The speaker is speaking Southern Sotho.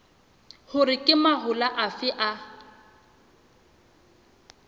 hore ke mahola afe a